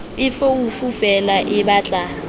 e foofo feela e batla